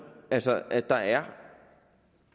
altså at der er